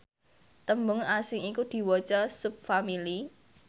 tembung asing iku diwaca subfamili